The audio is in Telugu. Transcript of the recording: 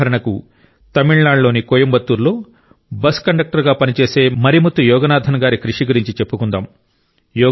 ఉదాహరణకు తమిళనాడులోని కోయంబత్తూర్లో బస్సు కండక్టర్ గా పనిచేసే మరిముత్తు యోగనాథన్గారి కృషి గురించి చెప్పుకుందాం